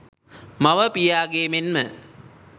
මව, පියාගේ මෙන්ම